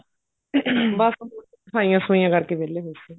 ਬੱਸ ਸਫਾਈਆਂ ਸਫੁਈਆਂ ਕਰਕੇ ਵਿਹਲੇ ਹੋਏ ਸੀ